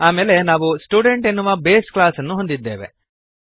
ಆಮೇಲೆ ನಾವು ಸ್ಟುಡೆಂಟ್ ಎನ್ನುವ ಬೇಸ್ ಕ್ಲಾಸ್ಅನ್ನು ಹೊಂದಿದ್ದೇವೆ